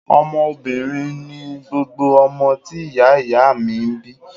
Ọmọ obìnrin ni gbogbo ọmọ tí ìyá ìyá a mi bi